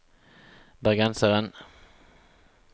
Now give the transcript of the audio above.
bergenseren